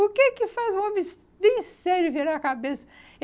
O que que faz um homem bem sério virar a cabeça?